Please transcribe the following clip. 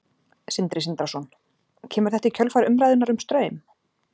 Sindri Sindrason: Kemur þetta í kjölfar umræðunnar um Straum?